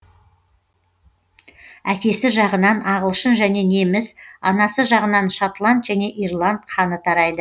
әкесі жағынан ағылшын және неміс анасы жағынан шотланд және ирланд қаны тарайды